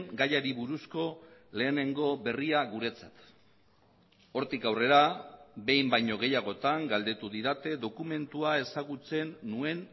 gaiari buruzko lehenengo berria guretzat hortik aurrera behin baino gehiagotan galdetu didate dokumentua ezagutzen nuen